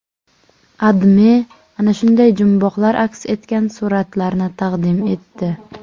AdMe ana shunday jumboqlar aks etgan suratlarni taqdim etdi.